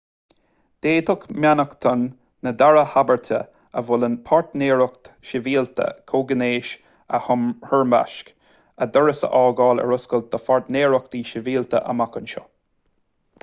d'fhéadfadh mainneachtain na dara habairte a mholann páirtnéireacht shibhialta comhghnéis a thoirmeasc a doras a fhágáil ar oscailt do pháirtnéireachtaí sibhialta amach anseo